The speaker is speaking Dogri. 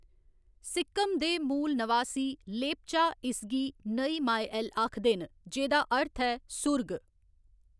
सिक्किम दे मूल नवासी, लेप्चा इसगी नई माए एल आखदे न, जेह्‌दा अर्थ ऐ 'सुर्ग'।